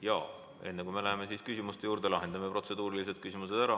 Ja enne, kui me läheme küsimuste juurde, lahendame protseduurilised küsimused ära.